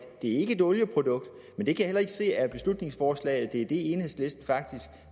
et olieprodukt men jeg kan heller ikke se af beslutningsforslaget at det er det enhedslisten faktisk